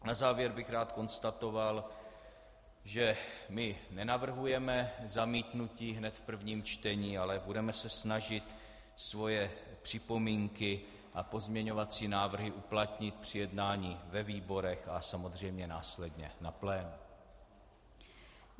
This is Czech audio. Na závěr bych rád konstatoval, že my nenavrhujeme zamítnutí hned v prvním čtení, ale budeme se snažit svoje připomínky a pozměňovací návrhy uplatnit při jednání ve výborech a samozřejmě následně na plénu.